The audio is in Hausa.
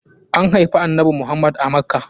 An haifi annanbi Muhammad a Makkah.